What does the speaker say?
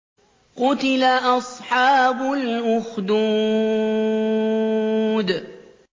قُتِلَ أَصْحَابُ الْأُخْدُودِ